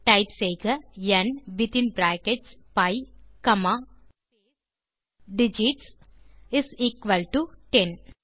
type செய்க ந் வித்தின் brackets p comma space digits is equal to 10